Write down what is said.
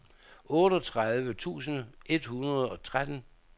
otteogtredive tusind et hundrede og tretten